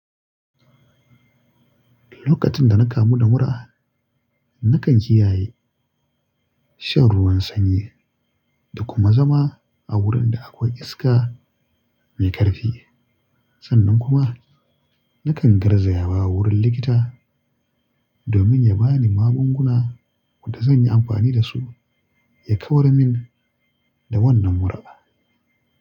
Lokacin da na kamu da mura, nakan kiyaye shan ruwan sanyi da kuma zama a wurin da akwai iska mai ƙarfi. Sannan kuma nakan garzaya wa wurin likita domin ya ba ni magunguna da zan yi amfani da su ya kawar min da wannan mura.